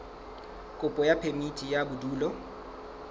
kopo ya phemiti ya bodulo